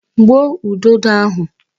Gbuo udodo ahụ!